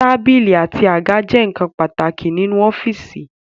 Tábìlì àti àga jẹ́ ǹkan pàtàkì nínú ọ́fìsì